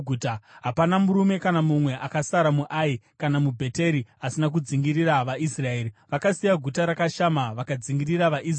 Hapana murume kana mumwe akasara muAi kana muBheteri asina kudzingirira vaIsraeri. Vakasiya guta rakashama vakadzingirira vaIsraeri.